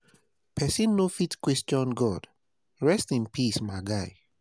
But if na so God want am, make want am, make im be.